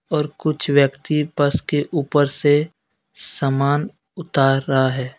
और कुछ व्यक्ति बस के ऊपर से समान उतार रहा है.